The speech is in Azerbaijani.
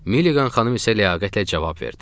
Milligan xanım isə ləyaqətlə cavab verdi.